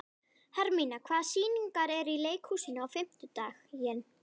Hermína, hvaða sýningar eru í leikhúsinu á fimmtudaginn?